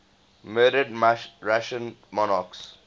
murdered russian monarchs